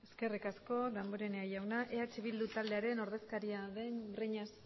eskerrik asko damborenea jauna eh bildu taldearen ordezkaria den breñas